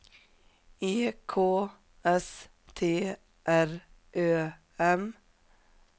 E K S T R Ö M